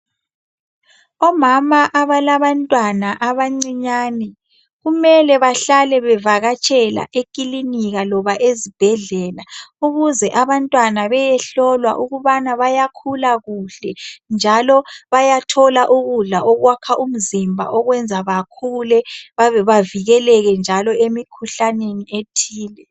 Omama abalabantwana abancinyane kumele behlale bevakatshela ekilinika kumbe ezibhedlela ukuze abantwana bayehlolwa ukuthi bayakhula kuhle, njalo bayathola ukudla okwakha umzimba okwenza bakhule bavikeleleke njalo emikhuhlaneni ethile.